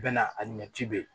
Bɛɛ na a ɲɛ ci bɛ yen